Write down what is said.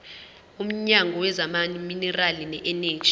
womnyango wezamaminerali neeneji